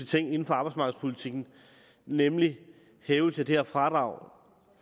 ting inden for arbejdsmarkedspolitikken nemlig hævelse af det her fradrag